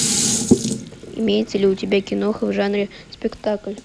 имеется ли у тебя киноха в жанре спектакль